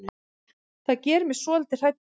Það gerir mig svolítið hrædda.